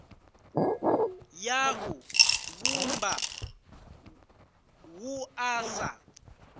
ya u vhumba wua sa